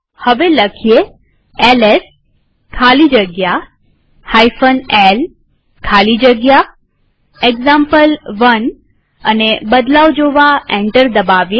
હવે એલએસ ખાલી જગ્યા l ખાલી જગ્યા એક્ઝામ્પલ1 લખીએ અને બદલાવ જોવા એન્ટર દબાવીએ